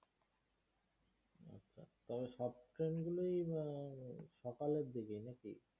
তবে সব train গুলোই হম সকালের দিকেই নাকি?